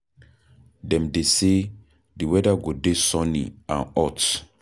Dem dey say, di weather go dey sunny and hot.